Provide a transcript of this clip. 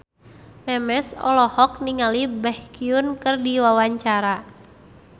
Memes olohok ningali Baekhyun keur diwawancara